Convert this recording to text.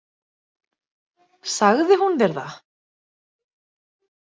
Sagði hún þér það?